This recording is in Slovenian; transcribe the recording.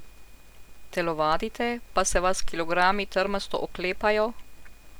Telovadite, pa se vas kilogrami trmasto oklepajo?